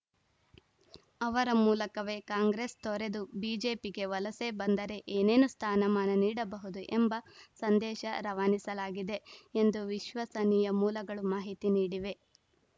ಅವರ ಮೂಲಕವೇ ಕಾಂಗ್ರೆಸ್‌ ತೊರೆದು ಬಿಜೆಪಿಗೆ ವಲಸೆ ಬಂದರೆ ಏನೇನು ಸ್ಥಾನಮಾನ ನೀಡಬಹುದು ಎಂಬ ಸಂದೇಶ ರವಾನಿಸಲಾಗಿದೆ ಎಂದು ವಿಶ್ವಸನೀಯ ಮೂಲಗಳು ಮಾಹಿತಿ ನೀಡಿವೆ